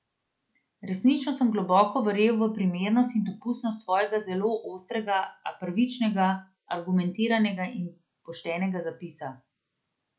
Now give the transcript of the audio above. Resnično sem globoko verjel v primernost in dopustnost svojega zelo ostrega, a pravičnega, argumentiranega in poštenega zapisa.